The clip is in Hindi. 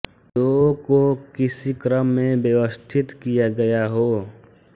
दों को किसी क्रम में व्यवस्थित किया गया हो